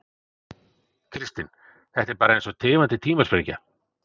Kristinn: Þetta er bara eins og tifandi tímasprengja?